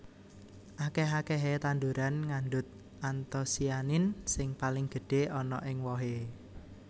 Akèh akèhé tanduran ngandhut antosianin sing paling gedhé ana ing wohé